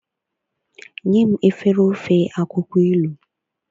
nyem efere ofe akwukwo ilu